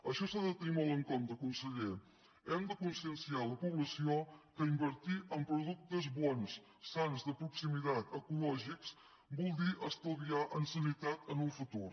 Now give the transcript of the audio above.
això s’ha de tenir molt en compte conseller hem de conscienciar la població que invertir en productes bons sans de proximitat ecològics vol dir estalviar en sanitat en el futur